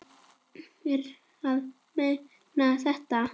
Ertu að meina þetta?